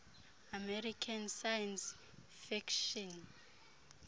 american science fiction